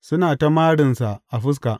Suna ta marinsa a fuska.